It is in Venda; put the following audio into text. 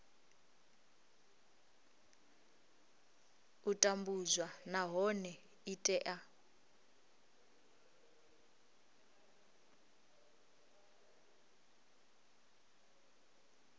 u tambudzwa nahone i tea